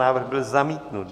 Návrh byl zamítnut.